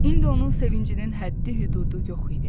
İndi onun sevincinin həddi-hüdudu yox idi.